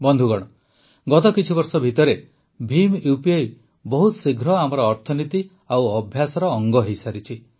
ବନ୍ଧୁଗଣ ଗତ କିଛିବର୍ଷ ଭିତରେ ଭିମ୍ ଉପି ବହୁତ ଶୀଘ୍ର ଆମର ଅର୍ଥନୀତି ଓ ଅଭ୍ୟାସର ଅଙ୍ଗ ହୋଇସାରିଛି